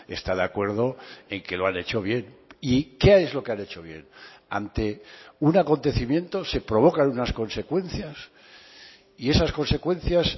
está de acuerdo en que lo han hecho bien y qué es lo que han hecho bien ante un acontecimiento se provocan unas consecuencias y esas consecuencias